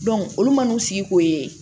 olu man'u sigi ko ye